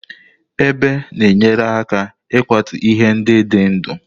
Ebe na-enyere aka n'ịkwatu ihe ndị dị ndụ.